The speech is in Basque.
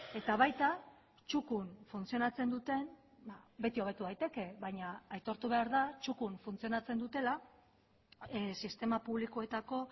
eta baita txukun funtzionatzen duten beti hobetu daiteke baina aitortu behar da txukun funtzionatzen dutela sistema publikoetako